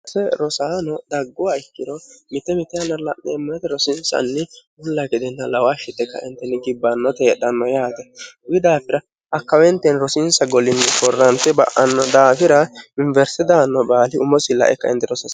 hare rosaano daggowa ikkiro mitte me'rosiinsanni hulla gedenna law hshite kaentenni gibbannote heedhanno yaate wi daafira hakkaweenteeni rosiinsa golinni forrante ba'anno daafira inwersidaanno baali umosi lae kin ro